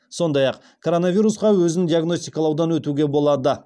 сондай ақ коронавирусқа өзін өзі диагностикалаудан өтуге болады